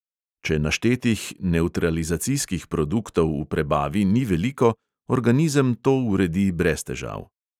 Če naštetih nevtralizacijskih produktov v prebavi ni veliko, organizem to uredi brez težav.